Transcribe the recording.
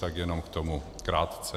Tak jenom k tomu krátce.